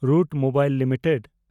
route Mobile limited